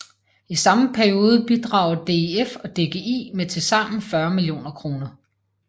I samme periode bidrager DIF og DGI med tilsammen 40 millioner kroner